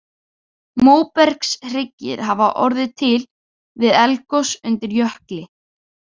Móbergshryggir hafa orðið til við eldgos undir jökli.